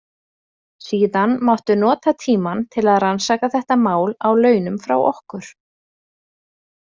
Síðan máttu nota tímann til að rannsaka þetta mál á launum frá okkur.